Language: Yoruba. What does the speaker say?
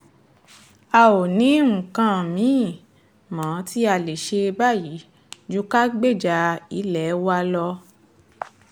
a ò ní nǹkan mi-ín mọ́ tí a lè ṣe báyìí ju ká gbèjà ilé wa lọ